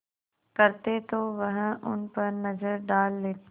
करते तो वह उन पर नज़र डाल लेते